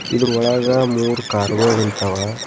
ಇದ್ರು ಒಳಗ ಮೂರ್ ಕಾರ್ ಗೊಳ್ ನಿಂತವ.